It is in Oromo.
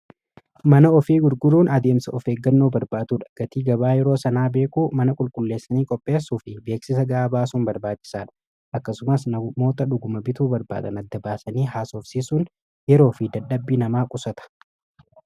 Mana ofii gurguruun adeemsa ofeeggannoo barbaatuudha gatii gabaa yeroo sanaa beekuu mana qulqulleessanii qopheessuu fi beeksisa ga'aa baasuun barbaachisaadha akkasumas namoota dhuguma bituu barbaatan adda baasanii haasorsiisuun yeroo fi dadhabbii namaa qusata.